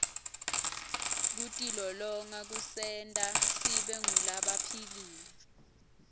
kutilolonga kusenta sibe ngulabaphilile